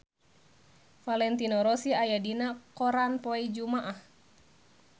Valentino Rossi aya dina koran poe Jumaah